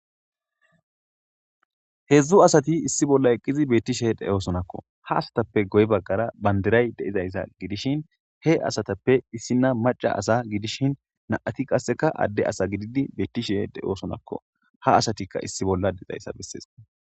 hedzdzu asati issi bolla eqqizi beettishe de7oosonakko ha asatappe goy baggara bandiray deizayssa gidishin he asatappe issinna maca asa gidishin na7ati qasseka adde asa gididi beettishe de7oosonakko ha asatikka issi bolla deizayssa bessees